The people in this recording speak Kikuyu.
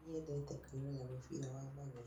Nĩ nyendete kwĩrorera mũbira wa magũrũ